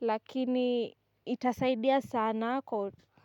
lakini itasaidia sana kwa.